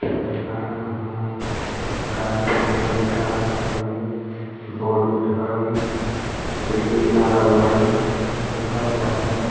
दुकान हाई गाड़ी लंबी कार मै वाईक बोर्ड वर्ड हुई बौरूद हाई ग्रिल लागल है लोहा उहा हाई।